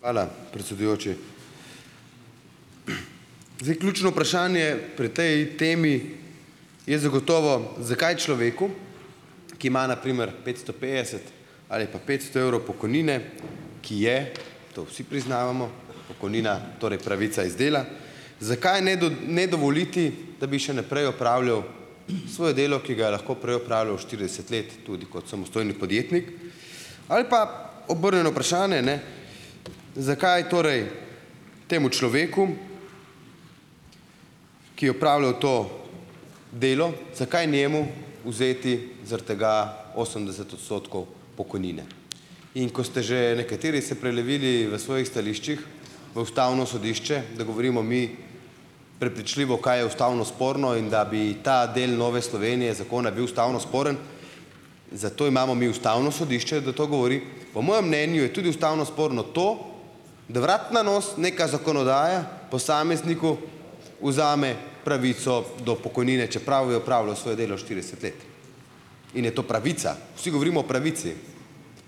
Hvala, predsedujoči. Zdaj, ključno vprašanje pri tej temi je zagotovo, zakaj človeku, ki ima na primer petsto petdeset ali pa petsto evrov pokojnine, ki je, to vsi priznavamo, pokojnina, torej pravica iz dela, zakaj ne ne dovoliti, da bi še naprej opravljal svoje delo, ki ga je lahko prej opravljal štirideset let tudi kot samostojni podjetnik. Ali pa obrnjeno vprašanje, ne, zakaj torej temu človeku, ki je opravljal to delo, zakaj njemu vzeti zaradi tega osemdeset odstotkov pokojnine. In ko ste že nekateri se prelevili v svojih stališčih v ustavno sodišče, da govorimo mi prepričljivo, kaj je ustavno sporno, in da bi ta del Nove Slovenije zakona bil ustavno sporen, zato imamo mi ustavno sodišče, da to govori. Po mojem mnenju je tudi ustavno sporno to, da vrat na nos neka zakonodaja posamezniku vzame pravico do pokojnine, čeprav je opravljal svoje delo štirideset let, in je to pravica. Vsi govorimo o pravici.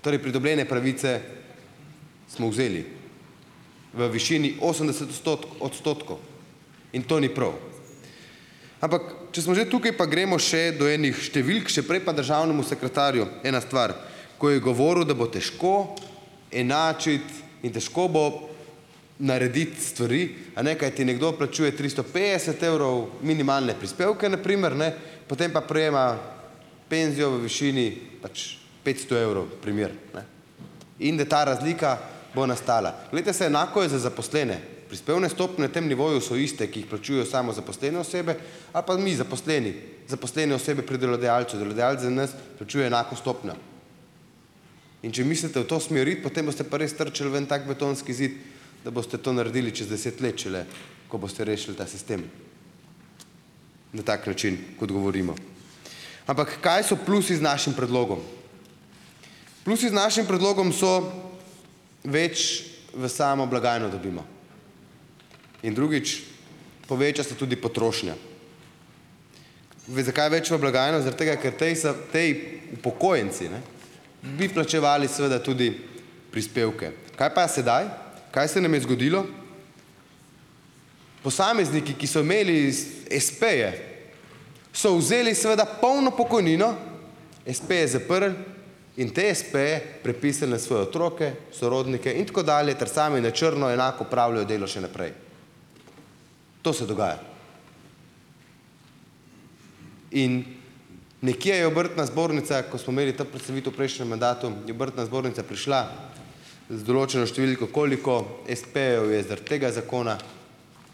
Torej pridobljene pravice smo vzeli v višini osemdeset odstotkov. In to ni prav. Ampak, če smo že tukaj pa gremo še do enih številk, še prej pa državnemu sekretarju ena stvar, ko je govoril, da bo težko enačiti in težko bo narediti stvari, a ne, kajti nekdo plačuje tristo petdeset evrov minimalne prispevke na primer, ne, potem pa prejema penzijo v višini pač petsto evrov, primer, ne, in da ta razlika bo nastala. Glejte, saj enako je za zaposlene. Prispevne stopnje na tem nivoju so iste, ki jih plačujejo samozaposlene osebe, ali pa mi zaposleni, zaposlene osebe pri delodajalcu. Delodajalec za nas plačuje enako stopnjo. In če mislite v to smer iti, potem boste pa res trčili v en tak betonski zid, da boste to naredili čez deset let šele, ko boste rešili ta sistem na tak način, kot govorimo. Ampak, kaj so plusi z našim predlogom? Plusi z našim predlogom so: več v samo blagajno dobimo. In drugič, poveča se tudi potrošnja. Zakaj več v blagajno? Zaradi tega, ker tej potem upokojenci, ne, bi plačevali seveda tudi prispevke. Kaj pa je sedaj, kaj se nam je zgodilo? Posamezniki, ki so imeli espeje so vzeli seveda polno pokojnino, espeje zaprli in te espeje prepisali na svoje otroke, sorodnike in tako dalje, ter sami na črno enak opravljajo delo še naprej. To se dogaja. In nekje je obrtna zbornica, ko smo imeli to predstavitev v prejšnjem mandatu, je obrtna zbornica prišla z določeno številko, koliko espejev je zaradi tega zakona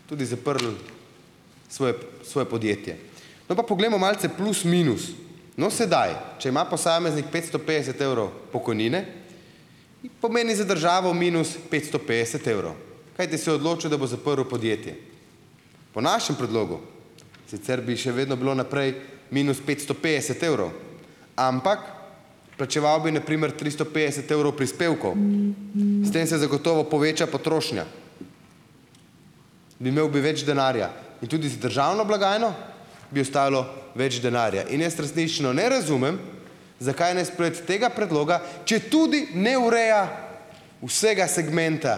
tudi zaprlo svoje svoje podjetje. No, pa poglejmo malce plus minus. No, sedaj, če ima posameznik petsto petdeset evrov pokojnine, pomeni za državo minus petsto petdeset evrov, kajti se je odločil, da bo zaprl podjetje. Po našem predlogu, sicer bi še vedno bilo naprej minus petsto petdeset evrov, ampak plačeval bi na primer tristo petdeset evrov prispevkov. S tem se zagotovo poveča potrošnja, bi imel bi več denarja in tudi z državno blagajno bi ostalo več denarja. In jaz resnično ne razumem, zakaj ne sprejeti tega predloga, četudi ne ureja vsega segmenta,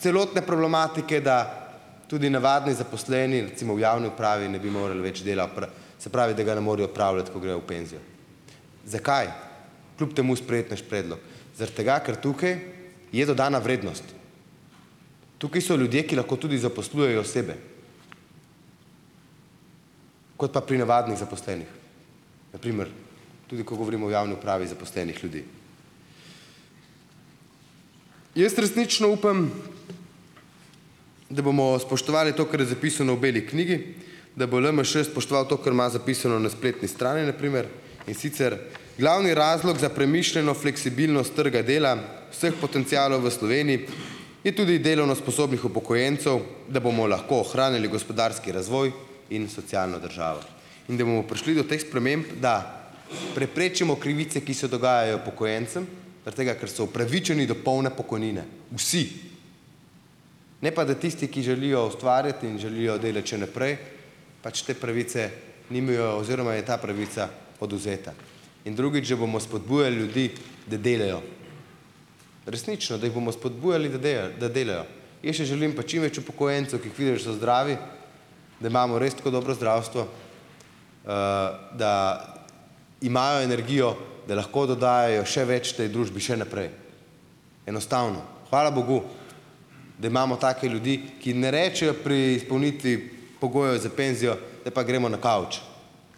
celotne problematike, da tudi navadni zaposleni, recimo v javni upravi, ne bi morali več dela se pravi, da ga ne morejo opravljati, ko grejo v penzijo. Zakaj kljub temu sprejeti naš predlog? Zaradi tega, ker tukaj je dodana vrednost. Tukaj so ljudje, ki lahko tudi zaposlujejo sebe, kot pa pri navadnih zaposlenih na primer tudi, ko govorimo o javni upravi zaposlenih ljudi. Jaz resnično upam, da bomo spoštovali to, kar je zapisano v beli knjigi, da bo LMŠ spoštoval to, ker ima zapisano na spletni strani na primer, in sicer: "Glavni razlog za premišljeno fleksibilnost trga dela vseh potencialov v Sloveniji, je tudi delovno sposobnih upokojencev, da bomo lahko ohranili gospodarski razvoj in socialno državo. In da bomo prišli do teh sprememb, da preprečimo krivice, ki se dogajajo upokojencem zaradi tega, ker so upravičeni do polne pokojnine." Vsi. Ne pa da tisti, ki želijo ustvarjati in želijo delati še naprej, pač te pravice nimajo oziroma je ta pravica odvzeta. In drugič, že bomo spodbujali ljudi, da delajo. Resnično, da jih bomo spodbujali, da da delajo. Jaz si želim pa čim več upokojencev, ki jih vidiš, da so zdravi, da imamo res tako dobro zdravstvo, da imajo energijo, da lahko dodajajo še več tej družbi še naprej. Enostavno. Hvala bogu, da imamo take ljudi, ki ne rečejo pri izpolnitvi pogojev za penzijo, zdaj pa gremo na kavč,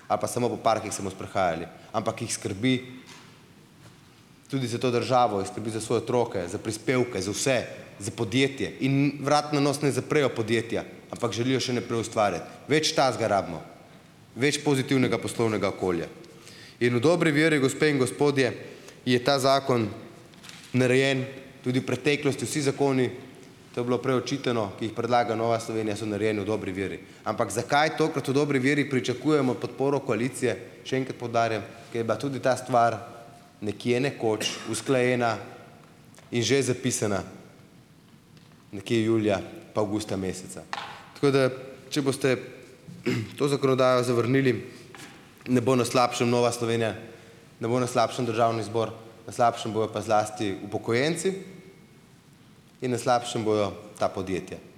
ali pa samo po parkih se bomo sprehajali, ampak jih skrbi tudi za to državo, jih skrbi za svoje otroke, za prispevke, za vse za podjetje in vrat na nos ne zaprejo podjetja, ampak želijo še naprej ustvarjati. Več takega rabimo. Več pozitivnega poslovnega okolja. In v dobri veri, gospe in gospodje, je ta zakon narejen, tudi v preteklosti vsi zakoni, to je bilo prej očitano, ki jih predlaga Nova Slovenija, so narejeni v dobri veri. Ampak zakaj tokrat v dobri veri pričakujemo podporo koalicije, še enkrat poudarjam, ker je bila tudi ta stvar nekje, nekoč, usklajena in že zapisana nekje julija pa avgusta meseca. Tako da, če boste, to zakonodajo zavrnili, ne bo na slabšem Nova Slovenija, ne bo na slabšem državni zbor, na slabšem bojo pa zlasti upokojenci in na slabšem bojo ta podjetja.